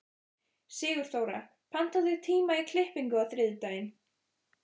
Sigurþóra, pantaðu tíma í klippingu á þriðjudaginn.